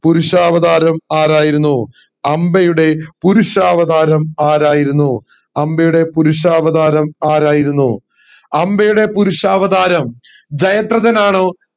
പുരുഷാവതാരം ആരായിരുന്നു അംബയുടെ പുരുഷാവതാരം ആരായിരുന്നു അംബയുടെ പുരുഷാവതാരം ആരായിരുന്നു അംബയുടെ പുരുഷാവതാരം ജയദ്രഥൻ ആണോ